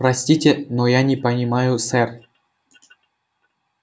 простите но я не понимаю сэр